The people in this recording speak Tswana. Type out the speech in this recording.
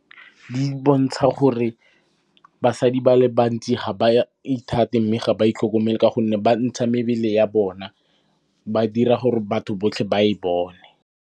Di bontsha gore basadi ba le bantsi ga ba ithate, mme ga ba itlhokomele ka gonne ba ntsha mebele ya bona, ba dira gore batho botlhe ba e bone.